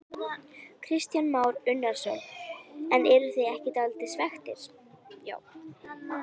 Kristján Már Unnarsson: En eruð þið ekki dálítið svekktir?